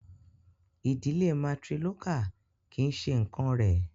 Ìdílé matrilocal kì í ṣe nǹkán rẹ̀.